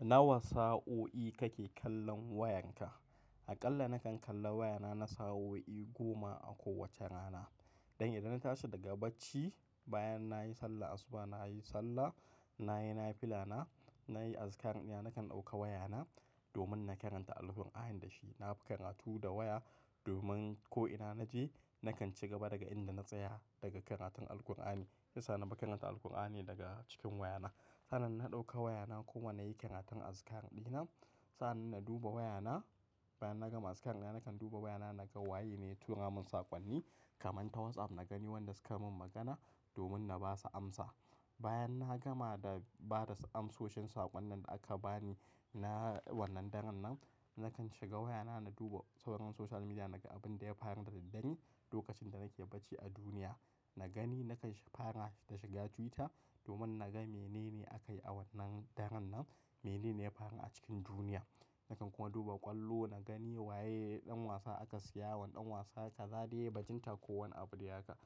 Nawa sa'o'i kake kallon wayanka? Aƙalla nakan kalla wayana na sa'o'i goma a kowace rana. Idan na tashi daga bacci bayan nayi sallah asuba, nayi sallah, nayi nafilana, nayi arkar ɗina nakan ɗauka wayana domin na karanta alkurani da shi. Na fi karatu da waya domin ko ina naje nakan ci gaba daga inda na tsaya daga karatun alkurani. Shiyasa na fi karata alkurani daga cikin wayana. Sa'an na ɗauka wayana kuma nayi karatun askar ɗina. Sa'an nan na duba wayana bayan na gama askar ɗina nakan duba wayana naga wa ye ne ya turamin sakonni kaman ta WhatsApp na gani wanda suka min magana domin na ba su amsa. Bayan na gama da ba da amsoshin sakonnin da aka bani na wannan daren nan, nakan shiga wayana na duba sauraron social media naga abin da ya faru da daddare lokacin da nake bacci a duniya. Na gani na kai fara da shiga Twitter domin naga mene ne akayi a wannan daren nan, mene ne ya faru a cikin duniya. Nakan kuma duba ƙwallo na gani wa ye ɗan wasa aka siya, wanne ɗan wasa kaza dai, bajinta ko wane abu dai haka.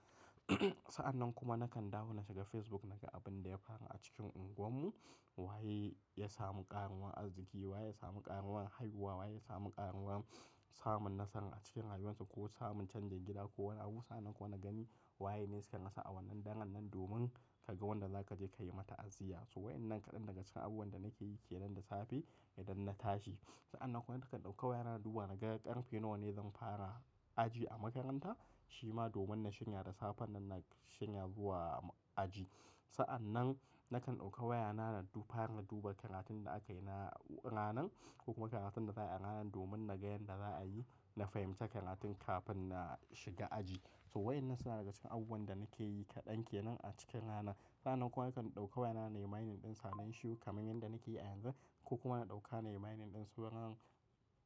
Sa'an kuma nakan dawo na shiga Facebook naga abun da ya faru a cikin unguwarmu. Wa ye ya samu ƙaruwan arziki, wa ye ya samu ƙaruwan haihuwa, wa ye ya samu ƙaruwan samun nasara a cikin rayuwansu ko samun canjin gida ko wani abu. Sa'an kuma na gani wa ye ne suka rasa a wannan daren nan domin ka ga wanda za ka je ka yi mata aziyya. Wa'inan kadan daga cikin abubuwan da nake yi ke nan da safe idan na tashi. Sa'an kuwa nakan ɗauka wayana in duba naga ƙarfe nawa ne zan fara aji a makaranta shima domin na shirya da safen nan na shanya zuwa aji. Sa'an nakan ɗauka wayana faran na duba karatun da akayi na ranan ko kuma karatun da za'a yi a ranan domin na ga yanda za'a yi. Na fahimci karatun kafin na shiga aji. So wa'inan suna daga cikin abubuwan da nake yi kaɗan ke nan a cikin rana. Sa'an kuma nakan ɗauka wayana nayi mining ɗin sanen shi kaman yanda nake yi a yanzu ko kuma na ɗauka nayi mining ɗin sauran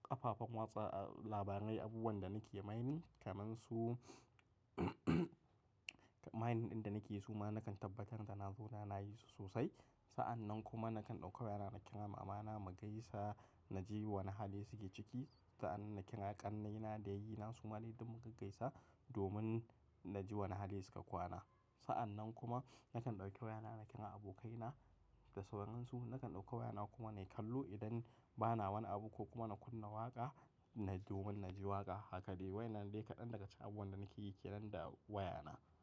ƙafafen watsa labarai, abubuwan da nake mining kamansu mining ɗin da nake yi suma nakan tabbatar da na zo mana yi su sosai. Sa'an kuma nakan ɗauka wayana na kira mama mu gaisa naji wane hali suke ciki. Sa'an na kira ƙannaina da yayena suma dai duk mu gaisa domin naji wane hali suka kwana. Sa'an kuma nakan ɗauki wayana na kira abokaina da sauransu. Nakan ɗauka wayana kuma nayi kallo idan bana wani abu ko kuma na kunna waƙa naji domin naji waƙa haka dai. Wa'inan ne kaɗan daga cikin abubuwan da nake yi ke nan da wayana.